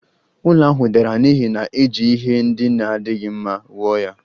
Ụlọ ahụ dara n'ihi na e ji ihe ndị na-adịghị mma wuo ya